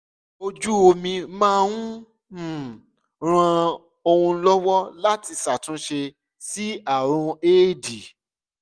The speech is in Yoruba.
ojú omi máa ń um ran òun lọ́wọ́ láti ṣàtúnṣe sí àrùn éèdì